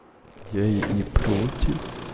я и не против